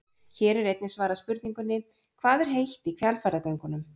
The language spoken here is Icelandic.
Hér er einnig svarað spurningunni: Hvað er heitt í Hvalfjarðargöngunum?